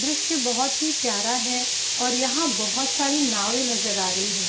दृश्य बहोत ही प्यारा है और यहाँ पे बहोत सारी नावें नज़र आ रही हैं।